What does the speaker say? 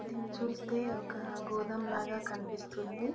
దేన్ని చుస్తే ఒక గోదాం లాగా కనిపిస్తుంది.